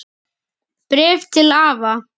Bréf til afa.